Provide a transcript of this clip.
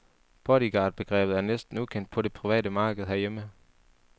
Bodyguardbegrebet er næsten ukendt på det private marked herhjemme.